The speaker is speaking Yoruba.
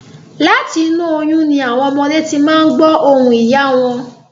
Láti inú oyún ni àwọn ọmọdé ti máa n gbọ̀ ohùn ìyá wọn